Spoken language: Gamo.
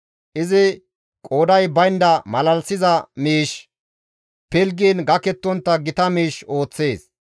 Izi qooday baynda malalisiza miish, pilggiin gakettontta gita miish ooththees.